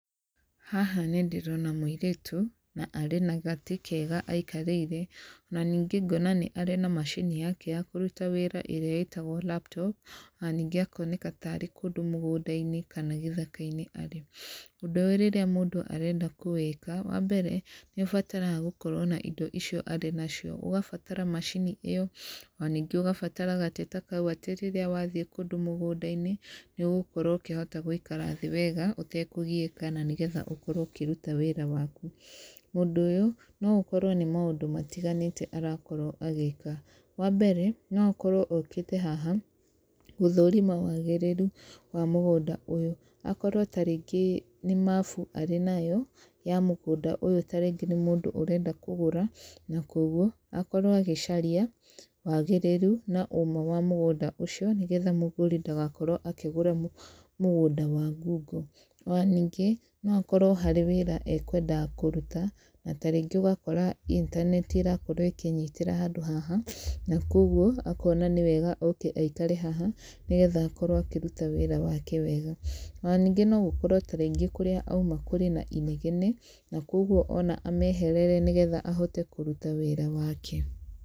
Haha nĩ ndĩrona mũirĩtu na arĩ na gatĩ kega aikarĩire, ona ningĩ ngona nĩ arĩ na macini yake ya kũruta wĩra ĩrĩa ĩtagwo laptop, ona ningĩ akoneka tarĩ kũndũ mũgũnda-inĩ kana gĩthaka-inĩ arĩ. Ũndũ ũyũ rĩrĩa mũndũ arenda kũwĩka, wa mbere nĩ ũbataraga gũkorwo na indo icio arĩ nacio, ũgabatara macini ĩyo, ona ningĩ ũgabatara gatĩ ta kau atĩ rĩrĩa wathiĩ kũndũ mũgũnda-inĩ, nĩ ũgũkorwo ũkĩhota gũikara thĩ wega ũtekũgiĩka na nĩgetha ũkorwo ũkĩruta wĩra waku. Mũndũ ũyũ no ũkorwo nĩ maũndũ matiganĩte arakorwo agĩka, wa mbere, no akorwo okĩte haha gũthũrima wagĩrĩru wa mũgũnda ũyũ, akorwo ta rĩngĩ nĩ mabu arĩ nayo, ya mũgũnda ũyũ ta rĩngĩ nĩ mũndũ ũrenda kũgũra, na koguo akorwo agĩcaria wagĩrĩru na ũma wa mũgũnda ũcio, nĩgetha mũgũri ndagakorwo akĩgũra mũgũnda wa ngungo. Ona ningĩ, no akorwo harĩ wĩra akwendaga kũruta, na tarĩngĩ ũgakora intaneti irakorwo ĩkĩnyitĩra handũ haha, na koguo, akona nĩ wega oke aikare haha, nĩgetha akorwo akĩruta wĩra wake wega. Ona ningĩ no ũkorwo ta rĩngĩ kũrĩa auma kũrĩ na inegene, na koguo ona ameherere nĩgetha ahote kũruta wĩra wake.